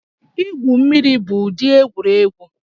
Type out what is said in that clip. Igwu mmiri bụ ụdị egwuregwu